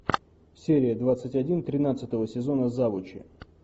серия двадцать один тринадцатого сезона завучи